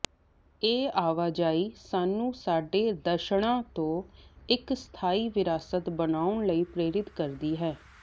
ਇਹ ਆਵਾਜਾਈ ਸਾਨੂੰ ਸਾਡੇ ਦਰਸ਼ਣਾਂ ਤੋਂ ਇੱਕ ਸਥਾਈ ਵਿਰਾਸਤ ਬਣਾਉਣ ਲਈ ਪ੍ਰੇਰਿਤ ਕਰਦੀ ਹੈ